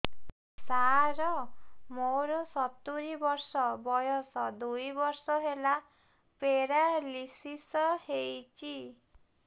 ସାର ମୋର ସତୂରୀ ବର୍ଷ ବୟସ ଦୁଇ ବର୍ଷ ହେଲା ପେରାଲିଶିଶ ହେଇଚି